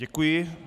Děkuji.